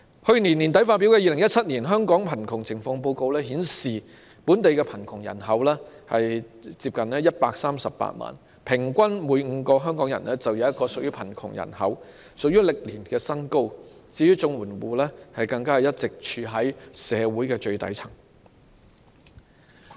去年年底發表的《2017年香港貧窮情況報告》顯示，本地貧窮人口接近138萬，平均每5名香港人便有1人屬於貧窮人口，創歷年新高，而綜援戶更一直處於社會最底層。